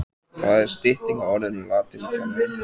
Það er stytting á orðinu latínukennari.